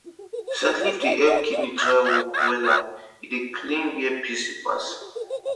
scent leaf tea dey help kidney dry work wella and e dey clean where piss dey pass